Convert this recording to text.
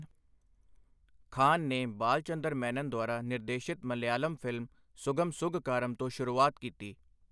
ਖਾਨ ਨੇ ਬਾਲਚੰਦਰ ਮੈਨਨ ਦੁਆਰਾ ਨਿਰਦੇਸ਼ਿਤ ਮਲਿਆਲਮ ਫ਼ਿਲਮ ਸੁਗਮ ਸੁਘਕਾਰਮ ਤੋਂ ਸ਼ੁਰੂਆਤ ਕੀਤੀ।